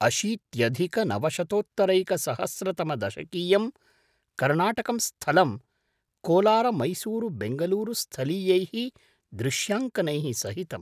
अषीत्यधिकनवशतोत्तरैकसहस्रतमदशकीयं कर्णाटकं स्थलं कोलारमैसूरुबैङ्गलूरुस्थलीयैः दृश्याङ्कनैः सहितम्।